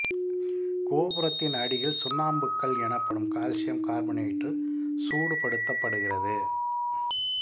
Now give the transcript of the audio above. கோபுரத்தின் அடியில் சுண்ணாம்புக் கல் எனப்படும் கால்சியம் கார்பனேட்டு சூடுபடுத்தப்படுகிறது